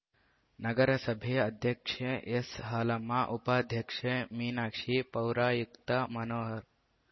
ನಗರಸಭೆ ಅಧ್ಯಕ್ಷೆ ಎಸ್‌ ಹಾಲಮ್ಮ ಉಪಾಧ್ಯಕ್ಷೆ ಮೀನಾಕ್ಷಿ ಪೌರಾಯುಕ್ತ ಮನೋಹರ್‌